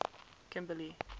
kimberly